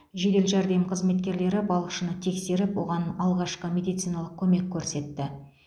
жедел жәрдем қызметкерлері балықшыны тексеріп оған алғашқы медициналық көмек көрсетті